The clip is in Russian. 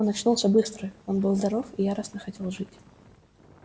он очнулся быстро он был здоров и яростно хотел жить